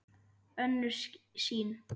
Önnur sýn